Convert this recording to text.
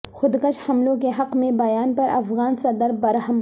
خود کش حملوں کے حق میں بیان پر افغان صدر برہم